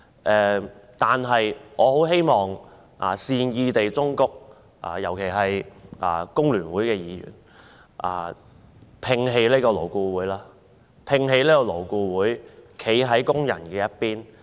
但是，我希望善意忠告各位議員——尤其是工聯會的議員——摒棄勞顧會，站在工人這邊。